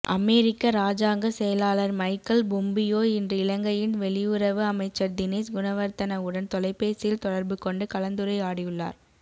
அமெரிக்க இராஜாங்க செயலாளர் Michael Pompeo இன்று இலங்கையின் வெளியுறவு அமைச்சர் தினேஸ் குணவர்த்தனவுடன் தொலைபேசியில் தொடர்புகொண்டு கலந்துரையாடியுள்ளார்